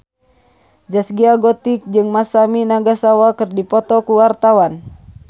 Zaskia Gotik jeung Masami Nagasawa keur dipoto ku wartawan